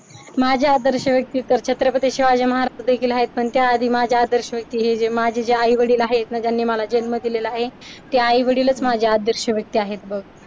माझी आदर्श व्यक्ती छत्रपती शिवाजी महाराज देखील आहेत पण त्या आधी माझ आदर्श व्यक्ती हे जे माझे आई वडील आहेत. ज्यांनी मला जन्म दिलेला आहे ते आई वडीलच माझे आदर्श व्यक्ती आहेत बघ.